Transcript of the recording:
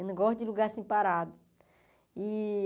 Eu não gosto de lugar assim parado. E